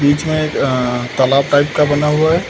बीच मे एक अ तलाब टाइप का बना हुआ है।